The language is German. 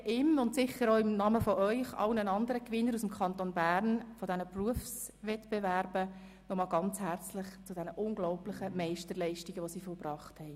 Ich gratuliere Beat Schranz sicher auch in Ihrem Namen, ebenso wie allen anderen Gewinnern der Berufswettbewerbe, die aus dem Kanton Bern stammen, zu den unglaublichen Meisterleistungen, die sie vollbracht haben.